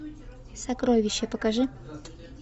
сокровище покажи